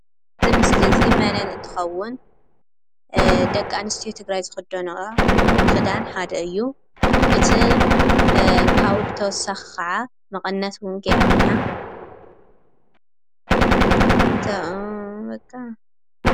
እዚ ምስሊ እዚ መነን እንትከውን ደቂ አንስትዮ ትግራይ ዝክደነኦ ክዳን ሓደ እዩ፡፡ እቲ ካብኡ ብተወሳኪ ከዓ መቀነት እውን ገይራ እኒሃ ፡፡